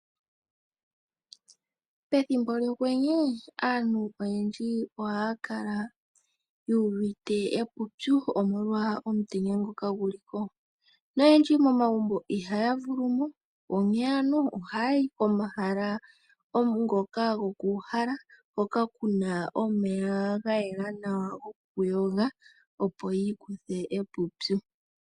Pethimbo lyokwenye aantu oyendji ohaa kala yu uvite uupyu omolwa omutenya ngoka gu li ko. Oyendji momagumbo ihaa vulu mo, ihe oha ya yi pomahala ngoka go ku uhala hoka ku na omeya ga yela nawa go ku yoga opo yi ikuthe uupyu.